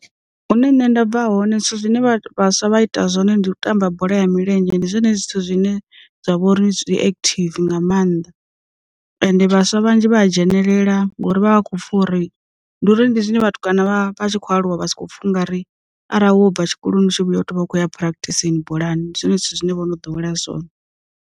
Hune nṋe nda bva hoṋe zwithu zwine vha vhaswa vha ita zwone ndi u tamba bola ya milenzhe ndi zwone zwithu zwine zwa vhori zwi active nga maanḓa, ende vhaswa vhanzhi vha a dzhenelela lela hone ngori vha vha khou pfha uri ndi uri ndi zwine vhathu kana vha tshi khou aluwa vha si kho funga ri arali wo bva tshikoloni u tshi vhuya u tea u vha u khou ya prakthisini bolani, ndi zwone zwithu zwine vho no dowela zwone.